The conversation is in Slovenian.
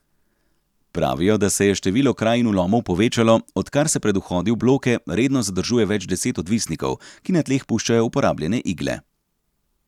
Pravijo, da se je število kraj in vlomov povečalo, odkar se pred vhodi v bloke redno zadržuje več deset odvisnikov, ki na tleh puščajo uporabljene igle.